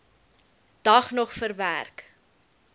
dag nog verwerk